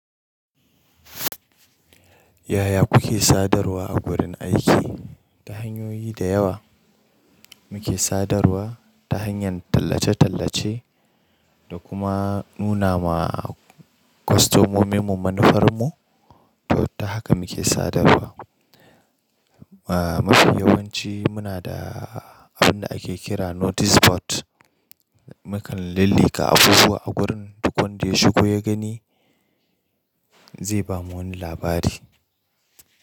Yaya kuke sadarwa a wurin aiki? Ta hanyoyi da yawa muke sadarwa ta hanyar tallace-tallace da kuma nuna wa kwastomomin mu manufarmu. To ta haka muke sadarwa. Mafi yawanci muna da abin da ake kira notice board. Mukan lillika abubuwa a gurin duk wanda ya shigo ya gani zai bama wani labari.